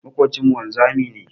Maƙocinmu wanzami ne.